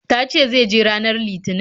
Ta ce zai je ranar Litinin.